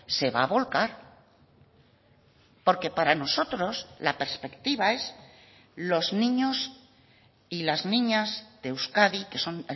se va a volcar porque para nosotros la perspectiva es los niños y las niñas de euskadi que son